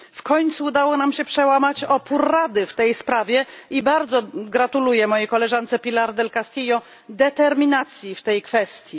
W końcu udało nam się przełamać opór Rady w tej sprawie i bardzo gratuluję mojej koleżance del Castillo determinacji w tej kwestii.